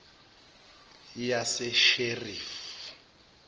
yasesherifi